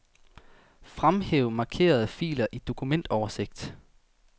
Fremhæv markerede filer i dokumentoversigt.